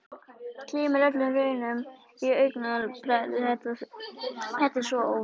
Gleymir öllum raunum á augabragði, þetta er svo óvænt.